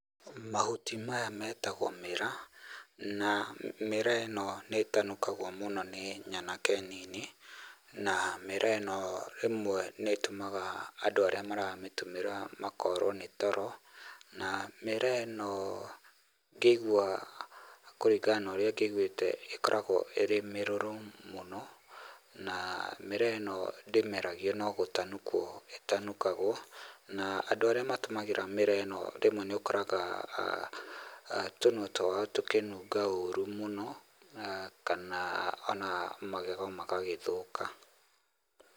Mahuti maya metagwo mĩraa, na mĩraa ĩno nĩ ĩtanukagwo mũno nĩ nyanake nini, na mĩraa ĩno rĩmwe nĩ ĩtumaga andũ arĩa maramĩtũmĩra makorwo nĩ toro na mĩraa ĩno ngĩigua, kũringana na ũrĩa ngĩiguĩte ĩkoragwo ĩrĩ mĩrũrũ mũno, na mĩraa ĩno ndĩmeragio no gũtanukwo ĩtanukagwo, na andũ arĩa matũmagĩra mĩraa ĩno rĩmwe nĩũkoraga tũnua twao tũkĩnunga ũru mũno, kana o na magego magagĩthũka.